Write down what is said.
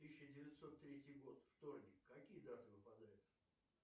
тысяча девятьсот третий год вторник какие даты выпадают